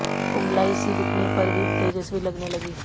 कुम्हलाई सी दिखने पर भी तेजस्वी लगने लगी